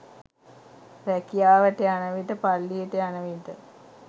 රැකියාවට යන විට පල්ලියට යන විට